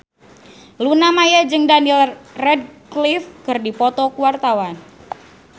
Luna Maya jeung Daniel Radcliffe keur dipoto ku wartawan